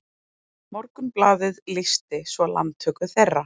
Morgunblaðið lýsti svo landtöku þeirra